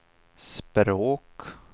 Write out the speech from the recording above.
språk